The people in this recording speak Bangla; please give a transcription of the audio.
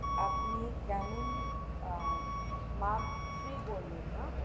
আপনি ক্যানেন আহ mark three বললেন না